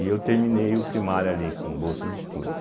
E eu terminei o primário ali com bolsa de estudo.